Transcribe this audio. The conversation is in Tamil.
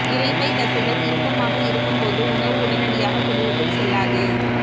இரைப்பைத் தசைகள் இறுக்கமாக இருக்கும்போது உணவு உடனடியாக குடலுக்குச் செல்லாது